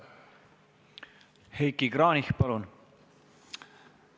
Heiki Kranich, palun!